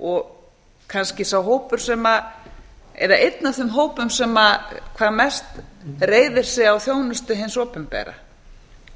og kannski sá hópur eða einn af þeim hópum sem mest reiðir á þjónustu hins opinbera